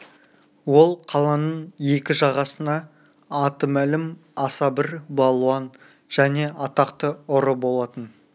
ол қаланың екі жағасына аты мәлім аса бір балуан және атақты ұры болатын